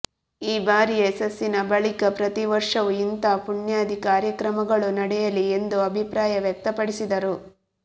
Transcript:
ಈ ಬಾರಿಯ ಯಶಸ್ಸಿನ ಬಳಿಕ ಪ್ರತಿವರ್ಷವೂ ಇಂತಹ ಪುಣ್ಯಾಧಿ ಕಾರ್ಯಕ್ರಮಗಳು ನಡೆಯಲಿ ಎಂದು ಅಭಿಪ್ರಾಯ ವ್ಯಕ್ತಪಡಿಸಿದರು